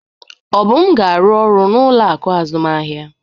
Obum ga-arụ ọrụ n'ụlọ akụ azụmahịa